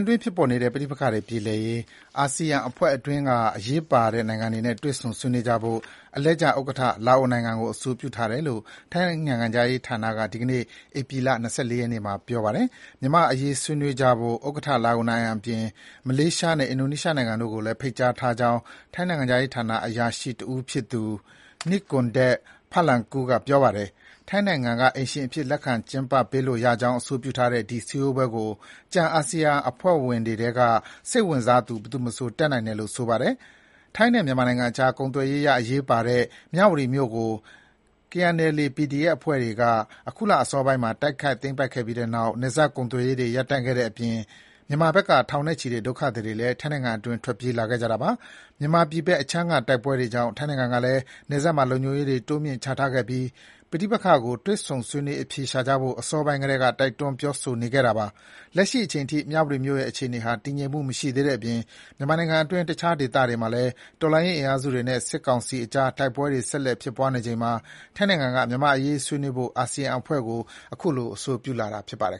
တွင်း ဖြစ်ပေါ်နေတဲ့ ပဋိပက္ခတွေပြေလည်ရေး အာဆီယံအဖွဲ့အတွင်းက အရေးပါတဲ့ နိုင်ငံတွေနဲ့ တွေ့ဆုံ ဆွေးနွေးကြဖို့ အလှည့်ကျဥက္ကဋ္ဌ လာအိုနိုင်ငံကို အဆိုပြုထားတယ်လို့ ထိုင်းနိုင်ငံခြားရေးဌာနက ဒီကနေ့ ဧပြီလ ၂၄ ရက်နေ့မှာ ပြောပါတယ်။ မြန်မာ့အရေးဆွေးနွေးကြဖို့ ဥက္ကဋ္ဌ လာအိုနိုင်ငံအပြင်၊ မလေးရှားနဲ့ အင်ဒိုနီးရှားနိုင်ငံတို့ကိုလည်း ဖိတ်ကြားထားကြောင်း ထိုင်းနိုင်ငံခြားရေးဌာန အရာရှိတဦးဖြစ်သူ Nikorndej Balankura က ပြောပါတယ်။ ထိုင်းနိုင်ငံက အိမ်ရှင်အဖြစ် လက်ခံ ကျင်းပပေးလို့ရကြောင်း အဆိုပြုထားတဲ့ ဒီ စည်းဝေးပွဲကို ကျန်အာဆီယံအဖွဲ့ဝင်နိုင်ငံတွေထဲက စိတ်ဝင်စားသူ ဘယ်သူမဆို တက်နိုင်တယ်လို့ ဆိုပါတယ်။ ထိုင်းနဲ့ မြန်မာနိုင်ငံအကြား ကုန်သွယ်ရေးအရ အရေးပါတဲ့ မြဝတီမြို့ကို KNLA/PDF အဖွဲ့တွေက အခုလအစောပိုင်းမှာ တိုက်ခိုက် သိမ်းပိုက်ပြီးတဲ့နောက် နယ်စပ်ကုန်သွယ်ရေးတွေ ရပ်တန့်ခဲ့တဲ့အပြင် မြန်မာဘက်က ထောင်နဲ့ချီတဲ့ ဒုက္ခသည်တွေလည်း ထိုင်းနိုင်ငံအတွင်း ထွက်ပြေးလာခဲ့ကြတာပါ။ မြန်မာပြည်ဘက်အခြမ်းက တိုက်ပွဲတွေကြောင့် ထိုင်းနိုင်ငံကလည်း နယ်စပ်မှာ လုံခြုံရေးတွေ တိုးမြင့်ချထားခဲ့ပြီး ပဋိပက္ခကို တွေ့ဆုံ ဆွေးနွေး အဖြေရှာကြဖို့ အစောပိုင်းကတည်းက တိုက်တွန်း ပြောဆိုနေခဲ့တာပါ။ လက်ရှိအချိန်ထိ မြဝတီမြို့ရဲ့ အခြေအနေဟာ တည်ငြိမ်မှု မရှိသေးတဲ့အပြင် မြန်မာနိုင်ငံအတွင်း တခြား ဒေသတွေမှာလည်း တော်လှန်ရေး အင်အားစုတွေနဲ့ စစ်ကောင်စီအကြား တိုက်ပွဲတွေ ဆက်လက်ဖြစ်ပွားနေချိန်မှာ ထိုင်းနိုင်ငံက မြန်မာ့အရေးဆွေးနွေးဖို့ အာဆီယံအဖွဲ့ကို အဆိုပြုလာတာ ဖြစ်ပါတယ်